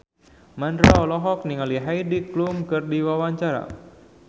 Mandra olohok ningali Heidi Klum keur diwawancara